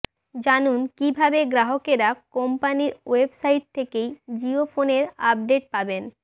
জানুন কীভাবে গ্রাহকেরা কোম্পানির ওয়েবসাইট থেকেই জিও ফোনের আপডেট পাবেন